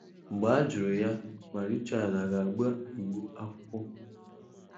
Mgbe a jụ̀rụ̀ ya ma Richard a ga-àgbá Igbo ákwụ́kwọ̀